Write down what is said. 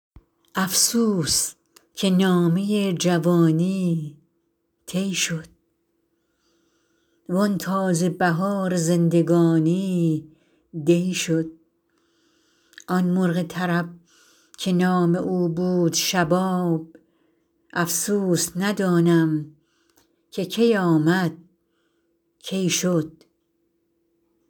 افسوس که نامه جوانی طی شد وآن تازه بهار زندگانی دی شد آن مرغ طرب که نام او بود شباب افسوس ندانم که کی آمد کی شد